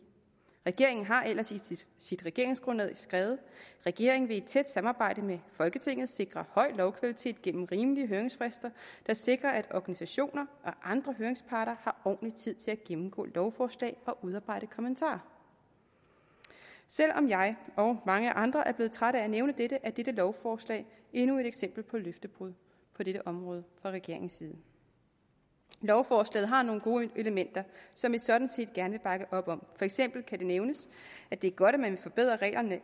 regeringen har ellers i sit regeringsgrundlag skrevet regeringen vil i tæt samarbejde med folketinget sikre høj lovkvalitet gennem rimelige høringsfrister der sikrer at organisationer og andre høringsparter har ordentlig tid til at gennemgå lovforslag og udarbejde kommentarer selv om jeg og mange andre er blevet trætte at nævne det er dette lovforslag endnu et eksempel på løftebrud på dette område fra regeringens side lovforslaget har nogle gode elementer som vi sådan set gerne vil bakke op om for eksempel kan det nævnes at det er godt at man vil forbedre reglerne